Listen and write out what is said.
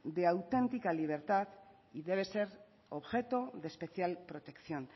de auténtica libertad debe ser objeto de especial protección